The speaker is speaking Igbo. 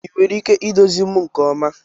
Ị nwere ike iduzi m nke ọma?